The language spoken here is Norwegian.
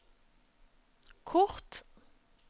kort